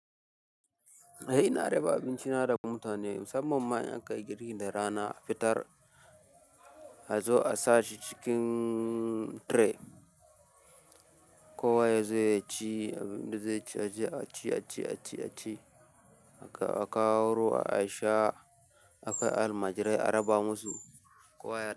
Ina raba abinci na da mutane musamman ma in aka yi girkin da rana a fitar a zo a sashi cikin tray. Kowa ya zo ya ci abin da zai a ci, a ci, a ci, a ci, a kawo ruwa a sha, akai a almajirai a raba musu kowa ya.